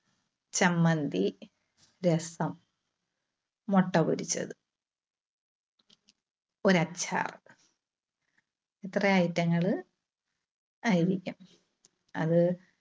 ചമ്മന്തി, രസം, മുട്ട പൊരിച്ചത്, ഒര് അച്ചാർ. ഇത്രയും item ങ്ങള് ആയിരിക്കും. അത്